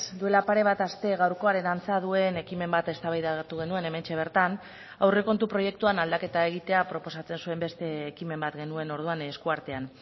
duela pare bat aste gaurkoaren antza duen ekimen bat eztabaidatu genuen hementxe bertan aurrekontu proiektuan aldaketa egitea proposatzen zuen beste ekimen bat genuen orduan esku artean